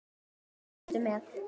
Hún brosti með